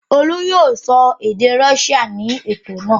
Olú yóò sọ èdè Russia ní ètò náà.